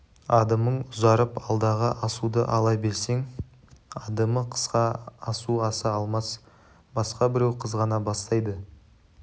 адымың ұзарып алдағы асуды ала берсең адымы қысқа асу аса алмас басқа біреу қызғана бастайды